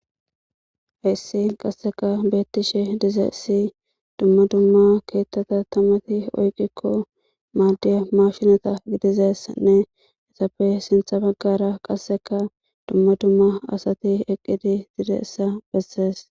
haissi qasseka beettishe dizeessi dumma dumma keettata tamati oyqikko maaddiya mashinata gidizeessanne esafe sintha baggara qasseka dumma dumma asati eqqidi didessa bessees